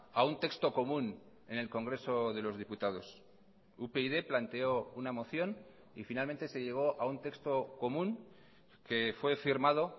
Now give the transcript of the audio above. a un texto común en el congreso de los diputados upyd planteó una moción y finalmente se llegó a un texto común que fue firmado